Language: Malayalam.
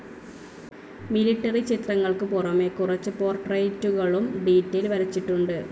മിലിട്ടറി ചിത്രങ്ങൾക്കു പുറമെ കുറച്ചു പോർട്രെയ്റ്റുകളും ഡീറ്റയിൽ വരച്ചിട്ടുണ്ട്.